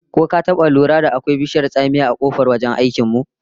Ko ka taba lura da akwai bishiyar tsamiya a kofar wajen aikin mu?